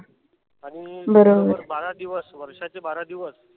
आणि बारा दिवस वर्षाचे बारा दिवस